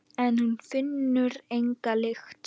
En hún finnur enga lykt.